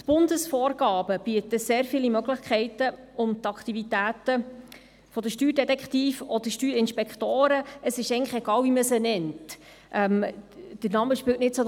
Die Bundesvorgaben bieten sehr viele Möglichkeiten, um die Aktivitäten der Steuerdetektive oder Steuerinspektoren innerhalb des bestehenden Rahmens zu verstärken.